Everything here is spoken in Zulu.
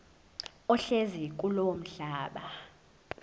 ohlezi kulowo mhlaba